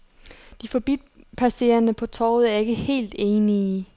De forbipasserende på torvet er ikke helt enige.